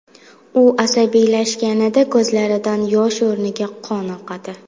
U asabiylashganida ko‘zlaridan yosh o‘rniga qon oqadi.